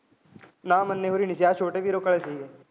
ਨਾ ਮੰਨੇ ਹੋਰਾਂ ਨੀ ਸੀ ਆਹ ਛੋਟੇ